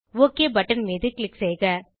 okay button மீது click செய்க